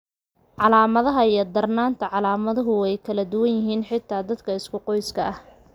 Calaamadaha iyo darnaanta calaamaduhu way kala duwan yihiin, xitaa dadka isku qoyska ah.